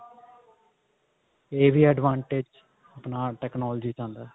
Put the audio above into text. ਇਹ ਵੀ advantage ਆਪਣਾ technology ਚ ਆਉਂਦਾ